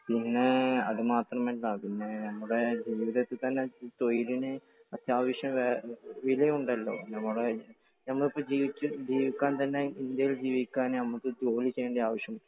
പിന്നെ അതു മാത്രമല്ല. നമ്മുടെ ജീവിതത്തിൽ തന്നെ തൊഴിലിന് അത്യാവശ്യം വിലയും ഉണ്ടല്ലോ. നമ്മുടെ, നമുക്ക് ജീവിക്കാൻ തന്നെ ഇന്ത്യയിൽ ജീവിക്കാൻ നമുക്ക് ജോലി ചെയ്യേണ്ട ആവശ്യം ഉണ്ട്.